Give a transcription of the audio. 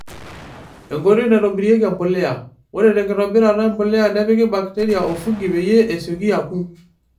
Enkoitoi naitobirieki empulia. Ore tenkitobirata empulia nepiki bakiteria o fungi peyie esioki akuu.